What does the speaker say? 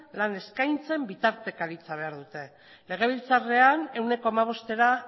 lan eskaintzen bitartekaritza behar dute legebiltzarrean ehuneko hamabostera